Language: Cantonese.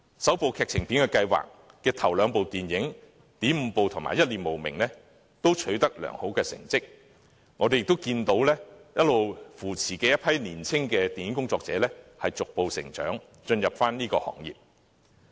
"首部劇情電影計劃"之下的首兩齣電影，"點五步"及"一念無明"，也取得良好成績，我們亦看到一直扶持的一批年青電影工作者逐步成長，進入行業。